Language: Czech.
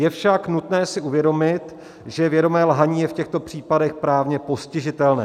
Je však nutné si uvědomit, že vědomé lhaní je v těchto případech právně postižitelné.